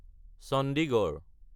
Chandigarh